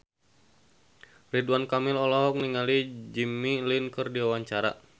Ridwan Kamil olohok ningali Jimmy Lin keur diwawancara